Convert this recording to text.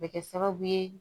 Bɛ kɛ sababu ye